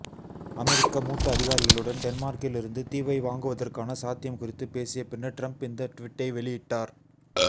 அமெரிக்க மூத்த அதிகாரிகளுடன் டென்மார்க்கிலிருந்து தீவை வாங்குவதற்கான சாத்தியம் குறித்து பேசிய பின்னர் டிரம்ப் இந்த ட்வீட்டை வெளியிட்டார்